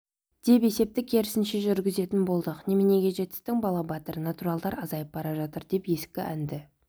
деп есепті керісінше жүргізетін болдық неменеге жетістің бала батыр натуралдар азайып бара жатыр деп ескі әнді